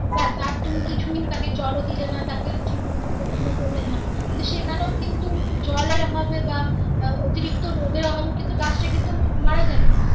ব্যাস আর তুমি কিছুই তাকে জলও দিলে না তাকে ঠিক মতো যত্ন করলে না সেখানেও কিন্তু জলের অভাবে বা অতিরিক্ত রোদের অভাবে কিন্তু গাছ টা কিন্তু মারা যাবে.